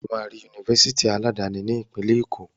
Ó máa rí Yunifásitì aládani ní ìpínlẹ̀ Èkó.